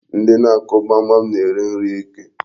Ndị na-akụ gbamgbam na-eri nri ike.